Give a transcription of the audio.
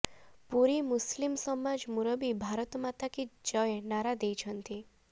ପୁରୀ ମୁସଲିମ ସମାଜ ମୁରବୀ ଭାରତ ମାତା କି ଜୟ ନାରା ଦେଇଛନ୍ତି